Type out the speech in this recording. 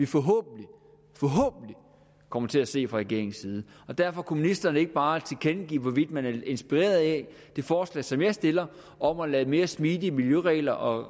forhåbentlig kommer til at se fra regeringens side derfor kunne ministeren ikke bare tilkendegive hvorvidt man er inspireret af det forslag som jeg stiller om at lade mere smidige miljøregler og